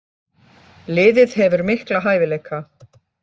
Liðið hefur mikla hæfileika.